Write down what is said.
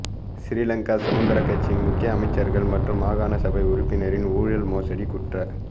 சிறிலங்கா சுதந்திரக் கட்சியின் முக்கிய அமைச்சர்கள் மற்றும் மாகாண சபை உறுப்பினரின் ஊழல் மோசடிக் குற்ற